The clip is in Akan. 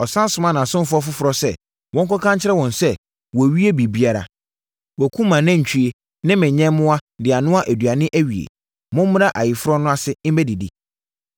“Ɔsane somaa nʼasomfoɔ foforɔ sɛ, ‘Monkɔka nkyerɛ wɔn sɛ, wɔawie biribiara. Wɔakum mʼanantwie ne me nyɛmmoa de anoa aduane awie. Mommra ayeforɔ no ase mmɛdidi!’